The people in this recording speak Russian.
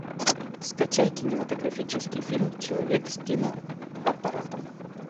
скачай кинематографический фильм человек с киноаппаратом